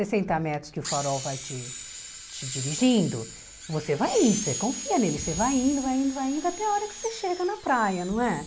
Sessenta metros que o farol vai te te dirigindo, você vai indo, você confia nele, você vai indo, vai indo, vai indo, até a hora que você chega na praia, não é?